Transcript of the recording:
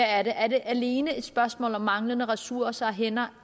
er det alene et spørgsmål om manglende ressourcer og hænder